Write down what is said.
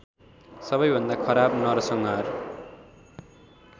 सबैभन्दा खराब नरसंहार